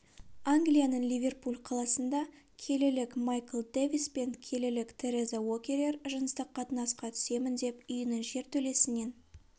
англияның ливерпуль қаласында келілілік майкл дэвис пен келілік тереза уокерер жыныстық қатынасқа түсемін деп үйінің жертөлесінен